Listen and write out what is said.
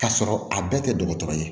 K'a sɔrɔ a bɛɛ tɛ dɔgɔtɔrɔ ye